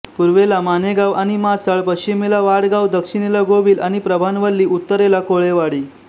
पूर्वेला नामेगाव आणि माचाळ पश्चिमेला वाडगाव दक्षिणेला गोविल आणि प्रभानवल्ली उत्तरेला कोळेवाडी